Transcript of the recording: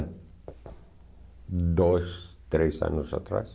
Dois, três anos atrás.